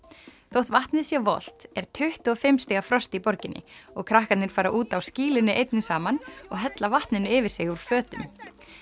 þótt vatnið sé volgt er tuttugu og fimm stiga frost í borginni og krakkarnir fara út á skýlunni einni saman og hella vatninu yfir sig úr fötum